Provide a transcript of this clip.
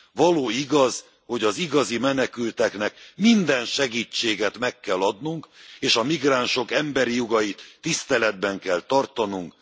Való igaz, hogy az igazi menekülteknek minden segítséget meg kell adnunk, és a migránsok emberi jogait tiszteletben kell tartanunk.